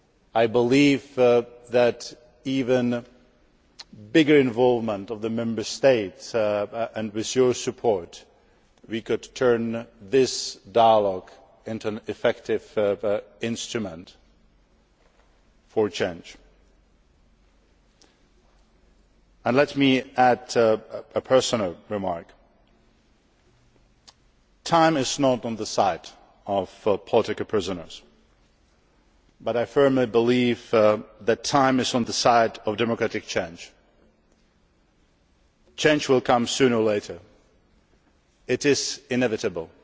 I believe that, with even greater involvement of the Member States and with your support, we can turn this dialogue into an effective instrument for change. Let me add a personal remark. Time is not on the side of political prisoners, but I firmly believe that time is on the side of democratic change. Change will come sooner or later. It is inevitable